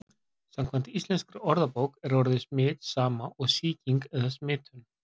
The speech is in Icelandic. Samkvæmt íslenskri orðabók er orðið smit sama og sýking eða smitun.